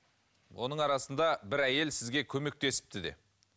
оның арасында бір әйел сізге көмектесіпті де